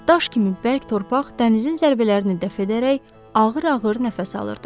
Daş kimi bərk torpaq dənizin zərbələrini dəf edərək ağır-ağır nəfəs alırdı.